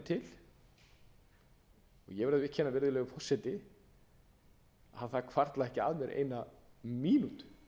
til og ég verð að viðurkenna virðulegi forseti að það hvarflaði ekki að mér eina mínútu